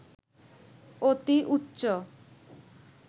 অতি উচ্চ